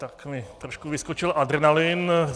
Tak mi trošku vyskočil adrenalin.